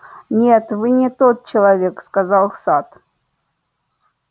нет вы не тот человек сказал сатт